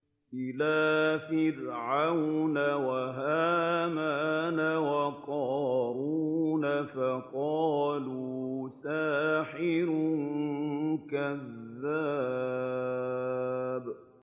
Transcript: إِلَىٰ فِرْعَوْنَ وَهَامَانَ وَقَارُونَ فَقَالُوا سَاحِرٌ كَذَّابٌ